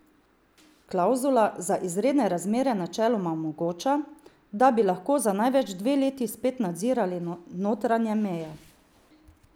Klavzula za izredne razmere načeloma omogoča, da bi lahko za največ dve leti spet nadzirali notranje meje.